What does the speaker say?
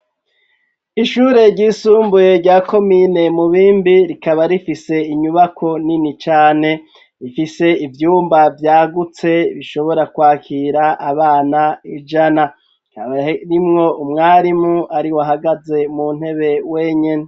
Ishure ryisumbuye rya komine mubimbi rikaba rifise inyubako nini cane rifise ivyumba vyagutse bishobora kwakira abana ijana kaba rimwo umwarimu ari we ahagaze mu ntebe wenyeni.